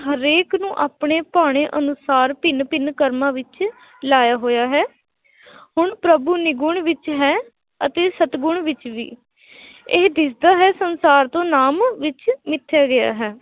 ਹਰੇਕ ਨੂੰ ਆਪਣੇ ਭਾਣੇ ਅਨੁਸਾਰ ਭਿੰਨ ਭਿੰਨ ਕਰਮਾਂ ਵਿੱਚ ਲਾਇਆ ਹੋਇਆ ਹੈ ਹੁਣ ਪ੍ਰਭੂ ਨਿਰਗੁਣ ਵਿੱਚ ਹੈ ਅਤੇ ਸਤਗੁਣ ਵਿੱਚ ਵੀ ਇਹ ਦਿਸਦਾ ਹੈ ਸੰਸਾਰ ਤੋਂ ਨਾਮ ਵਿੱਚ ਮਿੱਥਿਆ ਗਿਆ ਹੈ।